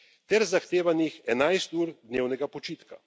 ter zahtevanih 11 ur dnevnega počitka.